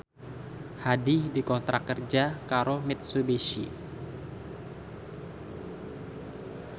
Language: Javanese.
Hadi dikontrak kerja karo Mitsubishi